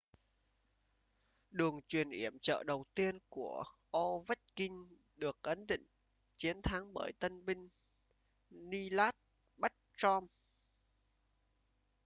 đường chuyền yểm trợ đầu tiên của ovechkin được ấn định chiến thắng bởi tân binh nicklas backstrom